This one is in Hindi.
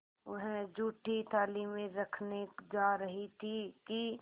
वह जूठी थाली में रखने जा रही थी कि